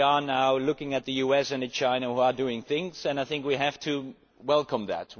We are now looking at the US and China which are doing things, and I think we have to welcome that.